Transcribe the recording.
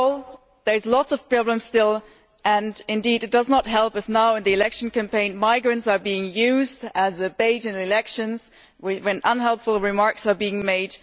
Overall there are still lots of problems, and indeed it does not help if now in the election campaign migrants are being used as bait in elections and unhelpful remarks are being made.